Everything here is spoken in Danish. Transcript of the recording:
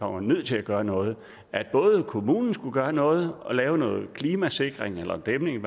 var nødt til at gøre noget at kommunen skulle gøre noget og lave noget klimasikring eller en dæmning